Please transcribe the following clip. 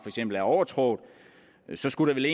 er overtrådt så skulle det